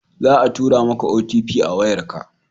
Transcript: Za a tura ma ka "OTP" a wayar ka